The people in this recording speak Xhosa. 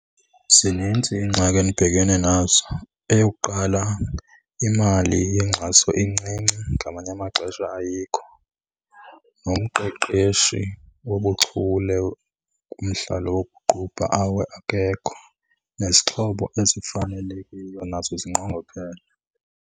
Zinintsi iingxaki endibhekene nazo. Eyokuqala, imali yenkxaso incinci ngamanye amaxesha ayikho. Nomqeqeshi wobuchule kumdlalo wokuqubha akekho. Nezixhobo ezifanelekile nazo zinqongophele.